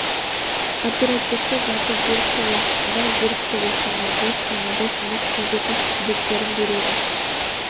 оперативті жады ерікті уақытында ерікті өлшемнің бос және бос емес кездейсоқ тізбектерін береді